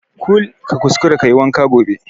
Kul ka kuskara kayi wanka gobe